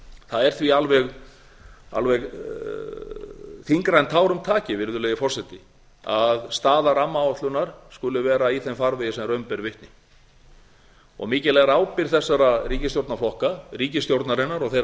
það er því alveg þyngra en tárum taki virðulegi forseti að staða rammaáætlunar skuli vera í þeim farvegi sem raun ber vitni og mikil er ábyrgð þessara ríkisstjórnarflokka ríkisstjórnarinnar og þeirra